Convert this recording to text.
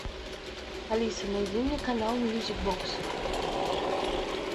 алиса найди мне канал мьюзик бокс